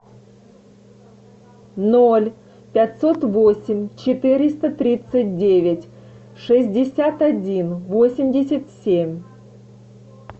ноль пятьсот восемь четыреста тридцать девять шестьдесят один восемьдесят семь